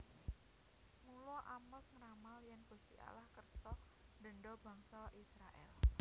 Mula Amos ngramal yèn Gusti Allah kersa ndendha bangsa Israèl